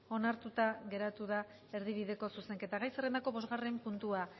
onartuta geratu da erdibideko zuzenketa gai zerrendako bosgarren puntua